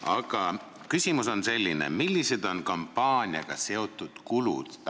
Aga küsimus on selline: millised on kampaaniaga seotud kulud?